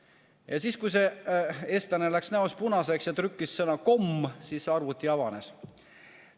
Ja siis see eestlane läks näost punaseks, aga trükkis sisse sõna "komm" ja seepeale arvuti avanes.